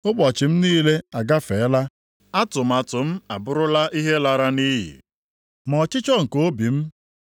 Ụbọchị m niile agafeela, atụmatụ m abụrụla ihe lara nʼiyi. Ma ọchịchọ nke obi m